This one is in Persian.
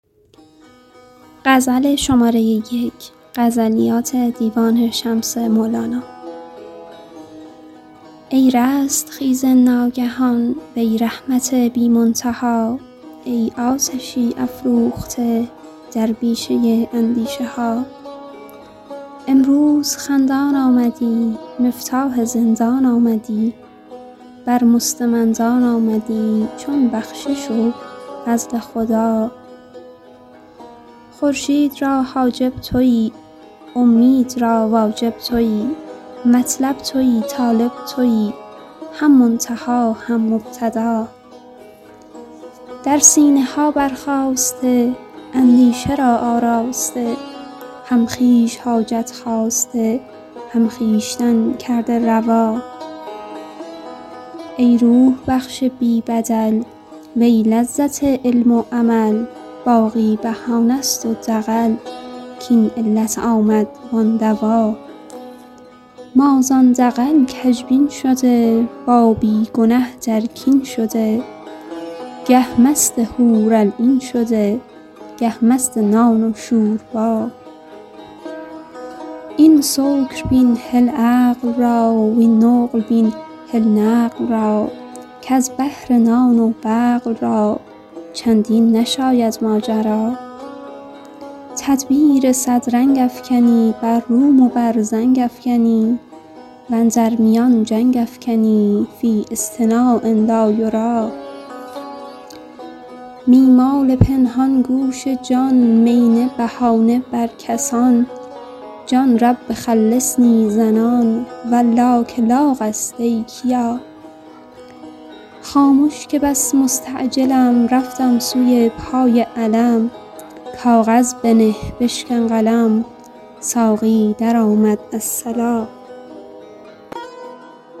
ای رستخیز ناگهان وی رحمت بی منتها ای آتشی افروخته در بیشه اندیشه ها امروز خندان آمدی مفتاح زندان آمدی بر مستمندان آمدی چون بخشش و فضل خدا خورشید را حاجب تویی اومید را واجب تویی مطلب تویی طالب تویی هم منتها هم مبتدا در سینه ها برخاسته اندیشه را آراسته هم خویش حاجت خواسته هم خویشتن کرده روا ای روح بخش بی بدل وی لذت علم و عمل باقی بهانه ست و دغل کاین علت آمد وان دوا ما زان دغل کژبین شده با بی گنه در کین شده گه مست حورالعین شده گه مست نان و شوربا این سکر بین هل عقل را وین نقل بین هل نقل را کز بهر نان و بقل را چندین نشاید ماجرا تدبیر صد رنگ افکنی بر روم و بر زنگ افکنی و اندر میان جنگ افکنی فی اصطناع لا یری می مال پنهان گوش جان می نه بهانه بر کسان جان رب خلصنی زنان والله که لاغ است ای کیا خامش که بس مستعجلم رفتم سوی پای علم کاغذ بنه بشکن قلم ساقی درآمد الصلا